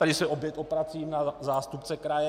Tady se opět obracím na zástupce kraje.